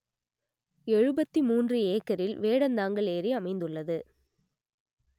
எழுபத்தி மூன்று ஏக்கரில் வேடந்தாங்கல் ஏரி அமைந்துள்ளது